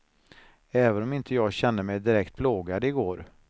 Även om inte jag kände mig direkt plågad i går.